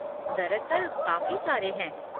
दरअसल, काफ़ी सारे हैं।